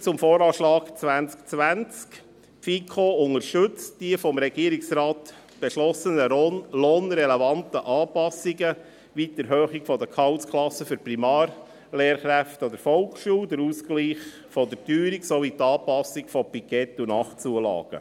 Zum VA 2020: Die FiKo unterstützt die vom Regierungsrat beschlossenen lohnrelevanten Anpassungen, wie die Erhöhung der Gehaltsklassen für Primarlehrkräfte an der Volksschule, den Ausgleich der Teuerung sowie die Anpassung von Pikett- und Nachtzulagen.